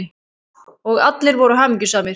Og allir voru hamingjusamir.